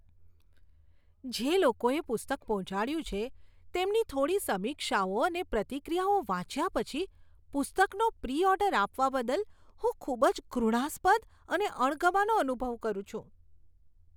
જે લોકોએ પુસ્તક પહોંચાડ્યું છે, તેમની થોડી સમીક્ષાઓ અને પ્રતિક્રિયાઓ વાંચ્યા પછી પુસ્તકનો પ્રી ઓર્ડર આપવા બદલ હું ખૂબ જ ઘૃણાસ્પદ અને અણગમાનો અનુભવ કરું છું.